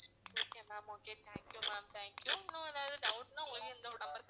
okay ma'am okay thank you ma'am thank you இன்னும் எதாவது doubt னா உங்களுக்கு இந்த ஒரு number க்கு